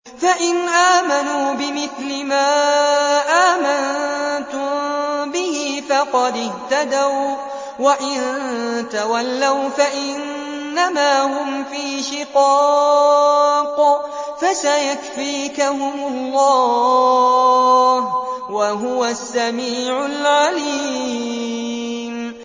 فَإِنْ آمَنُوا بِمِثْلِ مَا آمَنتُم بِهِ فَقَدِ اهْتَدَوا ۖ وَّإِن تَوَلَّوْا فَإِنَّمَا هُمْ فِي شِقَاقٍ ۖ فَسَيَكْفِيكَهُمُ اللَّهُ ۚ وَهُوَ السَّمِيعُ الْعَلِيمُ